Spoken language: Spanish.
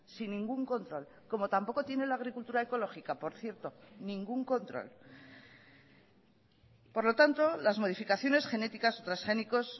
sin ningún control como tampoco tiene la agricultura ecológica por cierto ningún control por lo tanto las modificaciones genéticas o transgénicos